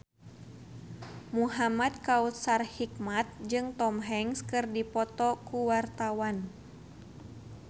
Muhamad Kautsar Hikmat jeung Tom Hanks keur dipoto ku wartawan